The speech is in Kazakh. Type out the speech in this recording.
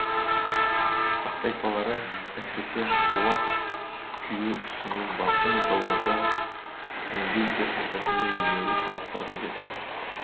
сақ тайпалары әсіресе қола күю ісі мен басқа металдарды өндеу техникасында елеулі табыстарға жетті